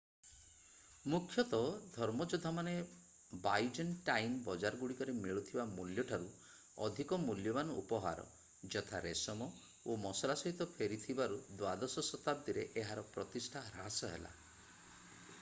ମୁଖ୍ୟତଃ ଧର୍ମଯୋଦ୍ଧାମାନେ Byzantine ବଜାରଗୁଡ଼ିକରେ ମିଳୁଥିବା ମୂଲ୍ୟଠାରୁ ଅଧିକ ମୂଲ୍ୟବାନ ଉପହାର ଯଥା ରେଶମ ଓ ମସଲା ସହିତ ଫେରିଥିବାରୁ ଦ୍ୱାଦଶ ଶତାବ୍ଦୀରେ ଏହାର ପ୍ରତିଷ୍ଠା ହ୍ରାସ ହେଲା